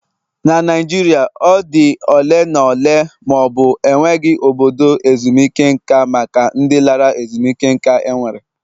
Na Naijiria, ọ dị ole na ole ma ọ bụ enweghị obodo ezumike nka maka ndị lara ezumike nká enwere.